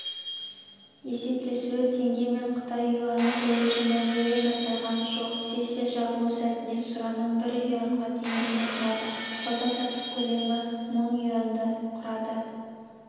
есептесуі теңгемен қытай юані бойынша мәмілелер жасалған жоқ сессия жабылу сәтіне сұраным бір юаньға теңгені құрады сауда-саттық көлемі мың юаньді құрады